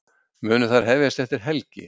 Munu þær hefjast eftir helgi